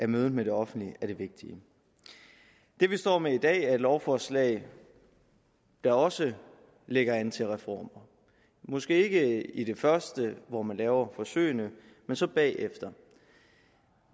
mødet med det offentlige er det vigtige det vi står med i dag er et lovforslag der også lægger an til reformer måske ikke i første hvor man laver forsøgene men så bagefter